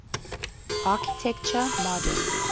architecture modern